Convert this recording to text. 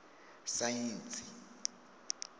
saentsi